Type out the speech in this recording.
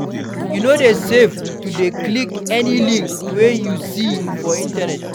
E no dey safe to dey click any link wey we see for di Internet